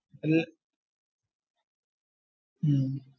ഹും